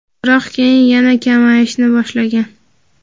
biroq keyin yana kamayishni boshlagan.